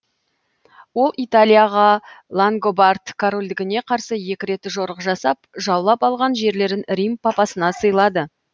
ол италияға лангобард корольдігіне карсы екі рет жорық жасап жаулап алған жерлерін рим папасына сыйлады